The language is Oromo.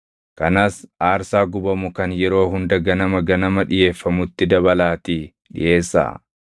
Kanas aarsaa gubamu kan yeroo hunda ganama ganama dhiʼeeffamutti dabalaatii dhiʼeessaa.